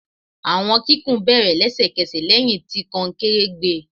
Awọn kikun bere lẹsẹkẹsẹ lẹhin ti konkere gbẹ